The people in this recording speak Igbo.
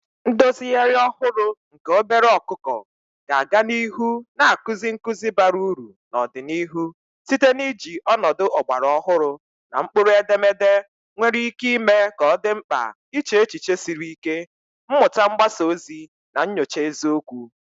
Ndozigharị ọhụrụ nke obere ọkụkọ ga-aga n'ihu na-akụzi nkuzi bara uru n'ọdịnihu site n'iji ọnọdụ ọgbara ọhụrụ na mkpụrụedemede nwere ike ime ka ọ dị mkpa iche echiche siri ike, mmuta mgbasa ozi, na nyocha eziokwu.